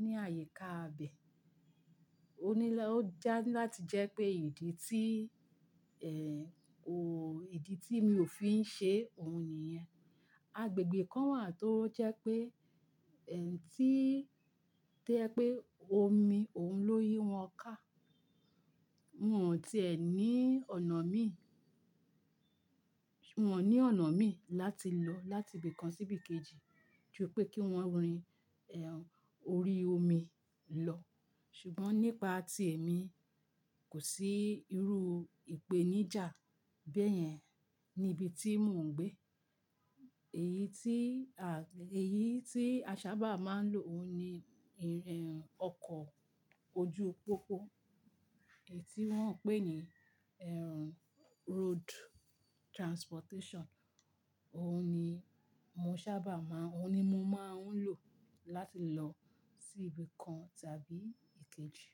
ní àyíká abẹ́. Ó ní lọ́-- ó jẹ́ láti jẹ́ pé ìdí tí, eh, ò-- ìdí tí mi ò fi ń ṣe òun nìyẹn. Agbègbè kan wà tó jẹ́ pé, eh, tí-- tí ẹ pé omi òun lóyún wọn ká. Wọn ò tí è ní ọ̀nà mí. Wọn ò ní ọ̀nà mí láti lọ láti ibì kan sí ibì kejì ju pé kí wọ́n rin, eh, orí omi lọ. Ṣùgbọ́n nípa tí èmi, kò sí irú ìpèníjà bẹ́yẹn ní ibi tí mò ń gbé. Èyí tí a, èyí tí a sábà máa ń lò ó ní, eh, ọkọ̀ ojú pópó. Èyí tí wọ́n ń pè ní ẹrù road transportation. Òun ni mo sábà má-- òun ni mo máa ń lò láti lọ sí ibì kan tàbí kejì.